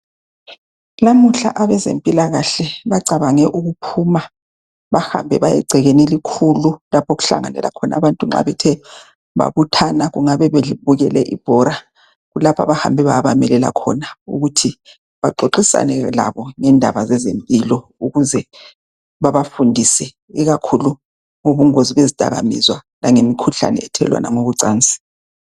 Namuhla abezempilakahle bacabange ukuphuma. Bahambe baye egcekeni elikhulu lapho okuhlanganyela khona abantu nxa bethe babuthana. Kungabe bebukele ibhora. Kulapha abahambe bayabamelela khona. Ukuze babafundise, ikakhulu ngobungozi bezidakamizwa. Langemikhuhlane, ethelelwana ngokocansi.